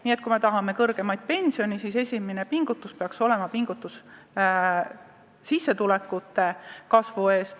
Nii et kui me tahame kõrgemaid pensione, siis eelkõige tuleks pingutada sissetulekute kasvu nimel.